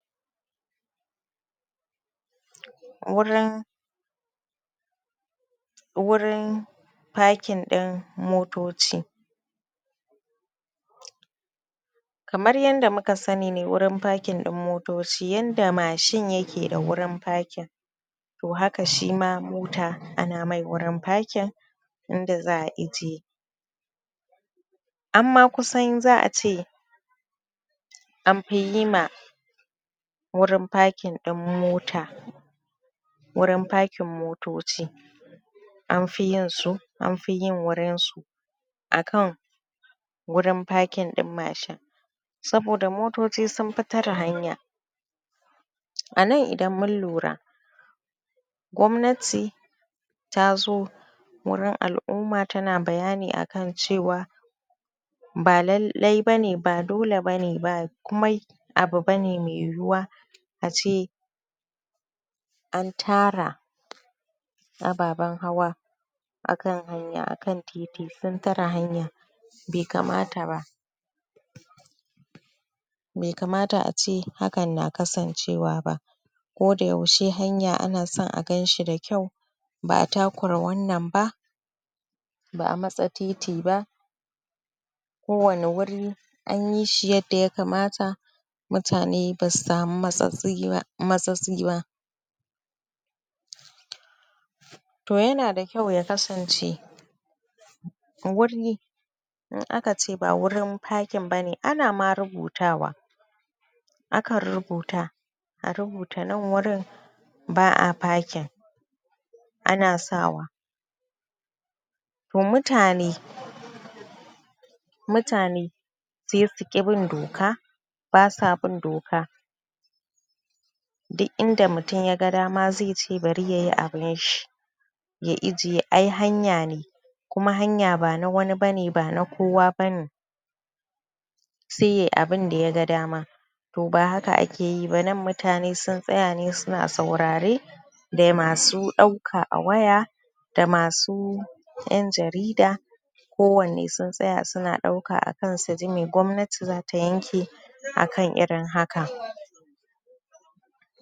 Wurin, wurin packing ɗin motoci. Kamar yanda muka sani ne wurin packing ɗin motoci yanda mashin ya ke da wurin packing. to haka shi ma mota ana mai wurin packing, inda za'a ijiye. Amma kusan za'a ce anfi yi ma wurin packing ɗin mota. Wurin packing motoci anfi yin su, anfi yin wurin su akan wurin packing ɗin mashin saboda motoci sun fi tare hanya. A nan idan mun lura, gwamnati ta zo wurin al'umma ta na bayani akan cewa ba lallai bane ba dole bane ba kumai abu bane mai yiwuwa ace an tara ababen hawa akan hanya, akan titi sun tare hanya be kamata ba. Be kamata ace hakan na kasancewa ba koda yaushe hanya ana son a ganshi da kyau. Ba'a takura wannan ba, ba'a matse titi ba kowane wuri an yi shi yadda ya kamata mutane ba su samu matsatsi ba. To ya na da kyau ya kasance wuri in aka ce ba wurin packing bane, ana ma rubutawa. Akan rubuta, a rubuta nan wurin ba'a packing, ana sawa. To mutane, mutane sai suƙi bin doka ba sa bin doka, duk inda mutum ya ga dama zai ce bari yayi abun shi, ya ijiye, ai hanya ne. Kuma hanya ba na wani bane, ba na kowa bane, sai yayi abun da ya ga dama. To ba haka ake yi ba. Nan mutane sun tsaya ne su na saurare da masu ɗauka a waya da masu ƴan jarida. Kowanne sun tsaya su na ɗauka akan suji me gwamnati za ta yanke akan irin haka.